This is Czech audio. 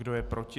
Kdo je proti?